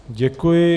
Děkuji.